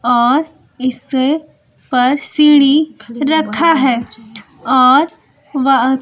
और इस पर सीढ़ी रखा है और वह--